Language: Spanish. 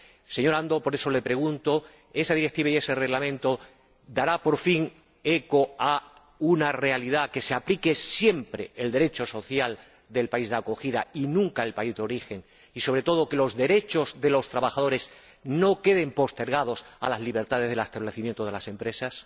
Señor Andor, por eso le pregunto, ¿esa directiva y ese reglamento se harán por fin eco de una realidad que se aplique siempre el Derecho social del país de acogida y nunca el del país de origen y, sobre todo, que los derechos de los trabajadores no queden postergados a las libertades de establecimiento de las empresas?